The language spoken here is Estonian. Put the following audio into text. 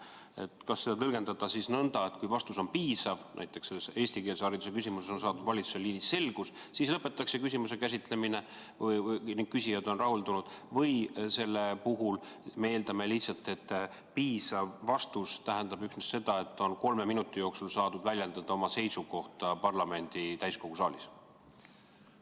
Kas seda sätet tuleks tõlgendada nõnda, et kui vastus on piisav, näiteks eestikeelse hariduse küsimuses on saadud valitsuse liinis selgust, siis lõpetatakse küsimuse käsitlemine, küsijad on rahuldunud, või me eeldame, et piisav vastus tähendab üksnes seda, et kolme minuti jooksul on saadud väljendada oma seisukohta parlamendi täiskogu saalis?